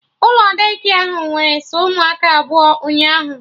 Ụlọ Daycare ahụ nwere sọ ụmụaka abụọ ụnyaahụ